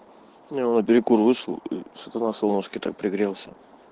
ну я на перекур вышел и что-то на солнышке так пригрелся